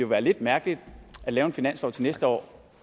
være lidt mærkeligt at lave en finanslov til næste år